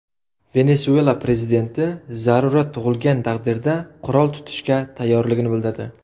Venesuela prezidenti zarurat tug‘ilgan taqdirda qurol tutishga tayyorligini bildirdi.